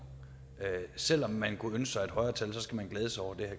selv om man kunne ønske sig et højere tal skal man glæde sig over det